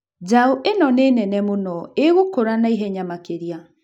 Njaũ ĩno nĩ nene mũno. Ĩgũkũra na ihenya makĩria.